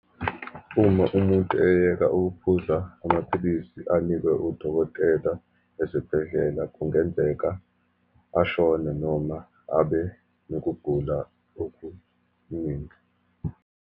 Uma umuntu eyeka ukuphuza amaphilisi anikwe udokotela esibhedlela, kungenzeka ashone, noma abe nokugula okuningi.